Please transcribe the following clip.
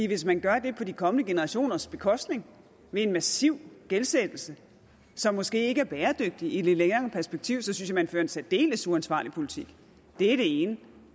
hvis man gør det på de kommende generationers bekostning med en massiv gældsætning som måske ikke er bæredygtig i et længere perspektiv synes jeg at man fører en særdeles uansvarlig politik det er det ene